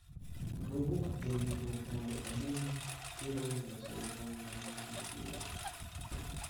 Nowuok ewinjruok mondo omon Iran loso ligangla mar nuklia.